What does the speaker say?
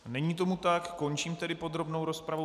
Není tomu tak, končím tedy podrobnou rozpravu.